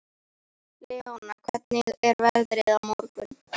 Leona, hvernig er veðrið á morgun?